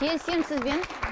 келісемін сізбен